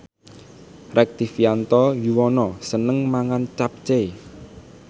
Rektivianto Yoewono seneng mangan capcay